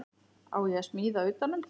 Á ég að smíða utan um það?